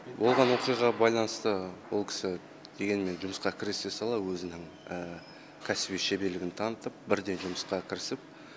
болған оқиғаға байланысты ол кісі дегенмен жұмысқа кірісе сала өзінің кәсіби шеберлігін танытып бірден жұмысқа кірісіп